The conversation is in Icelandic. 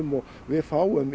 og við fáum